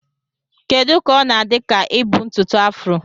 Kedu ka ọ na-adị ka ibu ntutu afro?